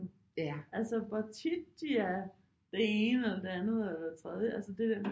Nu altså hvor tit de er det ene eller det andet eller det tredje altså det der med